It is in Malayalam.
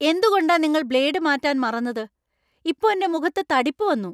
എന്തുകൊണ്ടാ നിങ്ങൾ ബ്ലേഡ് മാറ്റാൻ മറന്നത്? ഇപ്പോ എന്‍റെ മുഖത്ത് തടിപ്പ് വന്നു !